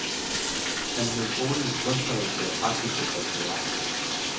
Han blev skolens kunstneriske og praktiske patriark.